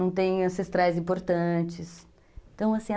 Não tem ancestrais importantes. Então, assim